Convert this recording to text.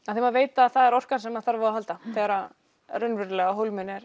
því maður veit að það er orkan sem maður þarf á að halda þegar á raunverulega hólminn er